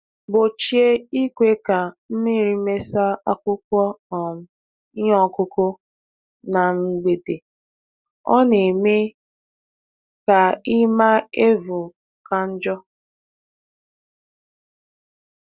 Gbochie ikwe ka mmírí Mesa akwụkwọ um iheọkụkụ na mgbede, ọ na -eme ka ima evu ka njọ.